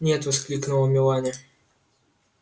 нет воскликнула мелани